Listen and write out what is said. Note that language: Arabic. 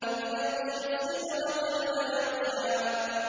إِذْ يَغْشَى السِّدْرَةَ مَا يَغْشَىٰ